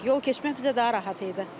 Yol keçmək bizə daha rahat idi.